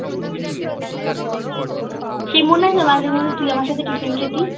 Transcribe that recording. সেই মনে আছে মাঝে মধ্যে তুই আমার সাথে tiffin খেতি